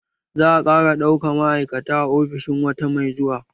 Za a ƙara ɗauka ma'aikata a ofishin wata mai zuwa